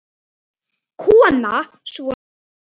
Kona: Svona?